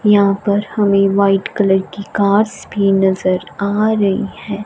यहां पर हमें व्हाइट कलर की कार्स भी नजर आ रही हैं।